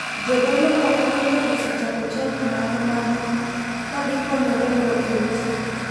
Jodolo moko bende osechako chadi ma kamagi ka gikonyorego e utegi.